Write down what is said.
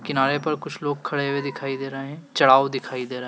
किनारे पर कुछ लोग खड़े हुए दिखाई दे रहे हैं। चढ़ाव दिखाई दे रहा है।